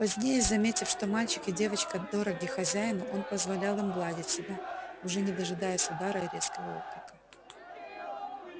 позднее заметив что мальчик и девочка дороги хозяину он позволял им гладить себя уже не дожидаясь удара и резкого окрика